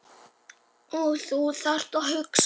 Og þú þarft að hugsa.